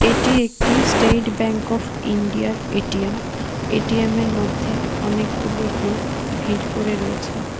এটি একটি স্টেট ব্যাঙ্ক অফ ইন্ডিয়ার এ_টি_এম এটিএমের মধ্যে অনেকগুলো লোক ভিড় করে রয়েছে।